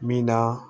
Min na